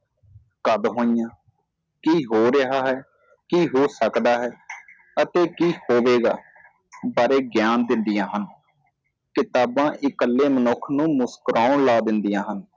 ਕਦ ਹੋਈਆਂ ਕਿ ਹੋ ਰਹੀਆਂ ਹੈ ਕਿ ਹੋ ਸਕਦਾ ਹੈ ਅਤੇ ਕਿ ਹੋਵੇਗਾ ਬਾਰੇ ਗਿਆਨ ਦਿੰਦੀਆਂ ਹਨ ਕਿਤਾਬਾਂ ਇਕੱਲੇ ਮਨੁੱਖ ਨੂੰ ਮੁਸਕਰਾਉਣ ਲਾਉਣ ਦਿੰਦੀਆਂ ਹਨ